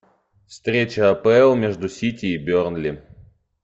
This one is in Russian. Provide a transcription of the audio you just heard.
встреча апл между сити и бернли